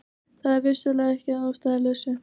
Það er vissulega ekki að ástæðulausu